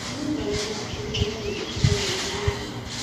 Nĩ ndonire atĩ rĩu rĩarĩ itua rĩega mũno.